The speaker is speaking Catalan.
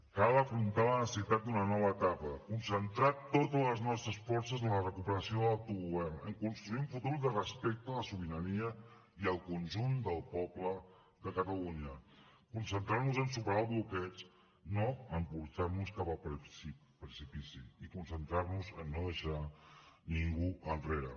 cal afrontar la necessitat d’una nova etapa concentrar totes les nostres forces en la recuperació de l’autogovern en construir un futur de respecte a la sobirania i al conjunt del poble de catalunya concentrar nos en superar el bloqueig no en portar nos cap al precipici i concentrar nos en no deixar ningú enrere